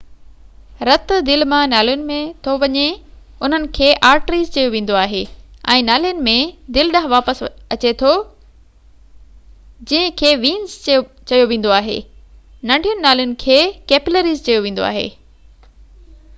رت دل مان نالين ۾ ٿو وڃي انهن کي آرٽريز چيو ويندو آهي ۽ نالين ۾ دل ڏانهن واپس اچي ٿو انهن کي وينز چيو ويندو آهي ننڍين نالين کي ڪيپلريز چيو ويندو آهي